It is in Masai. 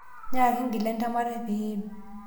nyaaki ingila entemata pee iim